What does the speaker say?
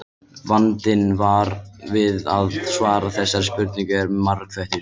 Vandinn við að svara þessari spurningu er margþættur.